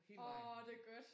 Åh det godt